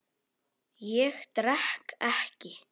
Ég drekk ekki.